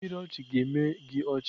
ihe nkiri ọchị ga-eme gị ọchị.